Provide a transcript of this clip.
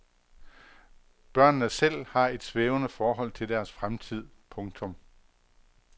Børnene selv har et svævende forhold til deres fremtid. punktum